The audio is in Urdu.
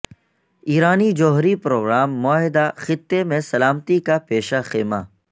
ایرانی جوہری پروگرام معاہدہ خطے میں سلامتی کا پیشہ خیمہ